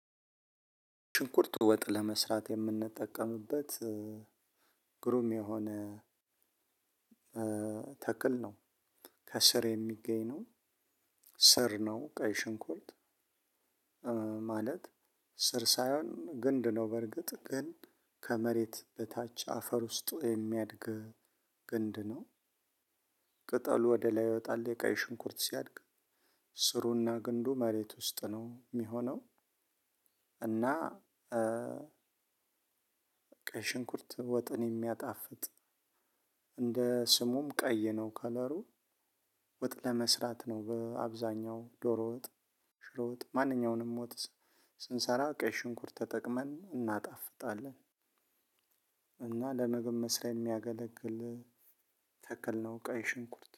ሽንኩርት ወጥ ለመስራት የምንጠቀምበት ግሩም የሆነ ተክል ነው። ከስር የሚገኝ ነው ስር ነው ቀይ ሽንኩርት። ማለት ስር ሳይሆን ግንድ ነው። በርግጥ ግን ከመሬት በታች አፈር ውስጥ የሚያድግ ግንድ ነው። ቅጠሉ ወደ ላይ ይወጣል የቃይ ሽንኩርት ሲያድግ ስሩና ግንዱ መሬት ውስጥ ነው እሚሆነው። እና ቀይ ሽንኩርት ወጥን የሚያጣፍጥ እንደ ስሙም ቀይ ነው። ከለሩ ወጥ ለመስራት ነው። በአብዛኛው ዶሮ ወጥ ሽሮ ወጥ ማንኛውንም ወጥ ስንሰራ ቀይ ሽንኩርት ተጠቅመን እናጣፍጣለን። እና ለምግብ መስሪያ የሚያገለግል ተክል ነው ቀይ ሽንኩርት